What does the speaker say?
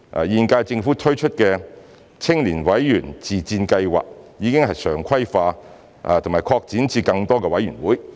現屆政府推出的青年委員自薦計劃已常規化，並已擴展至更多委員會。